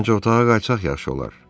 Məncə otağa qayıtsaq yaxşı olar.